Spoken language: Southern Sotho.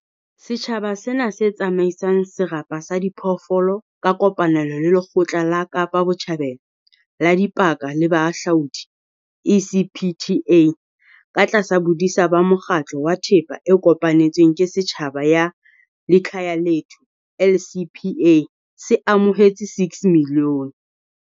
Setjhaba sena, se tsamaisang serapa sa diphoofolo ka kopanelo le Lekgotla la Kapa Botjhabela la Dipaka le Bohahlaudi ECPTA katlasa bodisa ba Mokgatlo wa Thepa e Kopanetsweng ke Setjhaba ya Likhaya lethu LCPA, se amohetse R6 milione.